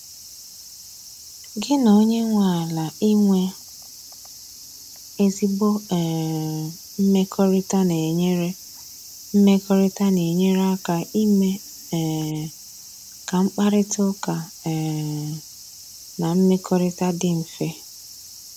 gi na onye nwe ala inwe ezigbo um mmekọrịta na-enyere mmekọrịta na-enyere aka ime um ka mkparịta ụka um na mmekọrịta dị mfe.